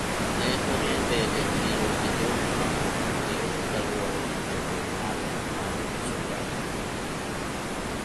ne oriembe e chiro gi jok maok ong'ere kaluwore gi chenro mare mar uso njaga